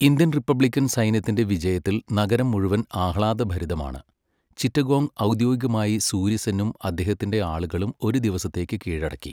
Indian republican സൈന്യത്തിന്റെ വിജയത്തിൽ നഗരം മുഴുവൻ ആഹ്ളാദഭരിതമാണ്, ചിറ്റഗോംഗ് ഔദ്യോഗികമായി സൂര്യസെന്നും അദ്ദേഹത്തിന്റെ ആളുകളും ഒരു ദിവസത്തേക്ക് കീഴടക്കി.